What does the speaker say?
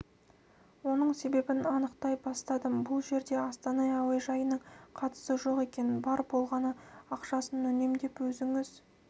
оның себебін анықтай бастадым бұл жерде астана әуежайының қатысы жоқ екен бар болғаны ақшасын үнемдеп өзінің